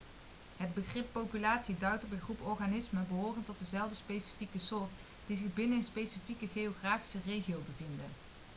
het begrip populatie duidt op een groep organismen behorend tot dezelfde specifieke soort die zich binnen een specifiek geografische regio bevinden